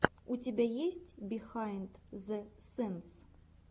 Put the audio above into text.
у тебя есть бихайнд зэ сэнс